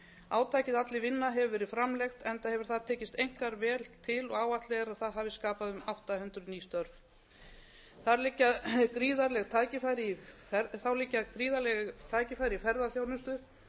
átakið allir vinna hefur verið framlengt enda hefur það tekist einkar vel til og áætlað er að það hefji skapað um átta hundruð ný störf þá liggja gríðarleg tækifæri í ferðaþjónustu